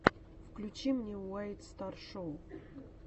включи мне уайт стар шоу